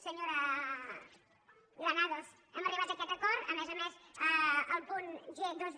senyora granados hem arribat a aquest acord a més a més el punt dos